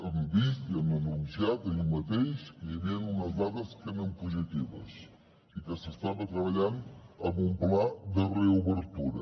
han vist i han anunciat ahir mateix que hi havia unes dades que eren positives i que s’estava treballant en un pla de reobertura